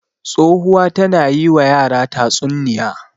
Tsohuwa tana yi wa yara tatsunniya.